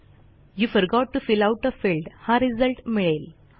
you forgot to fill out a field हा result मिळेल